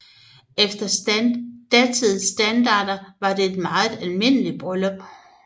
Efter datidens standarder var det et meget almindeligt bryllup